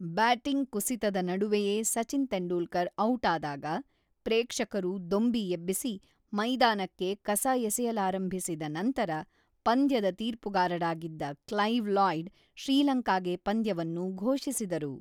Batting ಕುಸಿತದ ನಡುವೆಯೇ Sachin Tendulkar out ಆದಾಗ, ಪ್ರೇಕ್ಷಕರು ದೊಂಬಿ ಎಬ್ಬಿಸಿ, ಮೈದಾನಕ್ಕೆ ಕಸ ಎಸೆಯಲಾರಂಭಿಸಿದ ನಂತರ ಪಂದ್ಯದ ತೀರ್ಪುಗಾರರಾಗಿದ್ದ ಕ್ಲೈವ್ ಲಾಯ್ಡ್, ಶ್ರೀಲಂಕಾಗೆ ಪಂದ್ಯವನ್ನು ಘೋಷಿಸಿದರು.